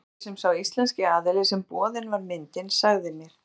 Samkvæmt því sem sá íslenski aðili sem boðin var myndin sagði mér.